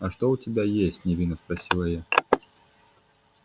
а что у тебя есть невинно спросила я